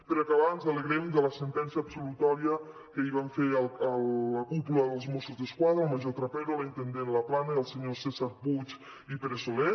per acabar ens alegrem de la sentència absolutòria que ahir van fer a la cúpula dels mossos d’esquadra el major trapero la intendent laplana i els senyors cèsar puig i pere soler